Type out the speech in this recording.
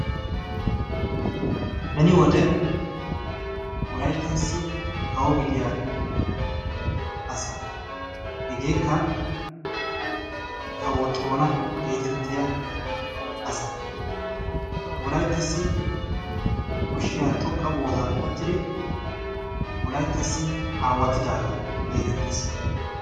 Beni wode wolayittassi kawo gidiya asa. Hegeekka kawo xoona geetettiya asa. Wolayttassi koshshiya xoqqa bootan uttidi wolayittassi aawatidaagaa geetettes.